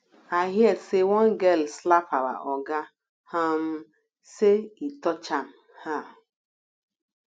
i hear say one girl slap our oga um say he touch am um